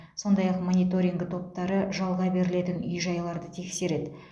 сондай ақ мониторинг топтары жалға берілетін үй жайларды тексереді